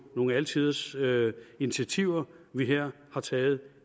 nogle alle tiders initiativer vi her har taget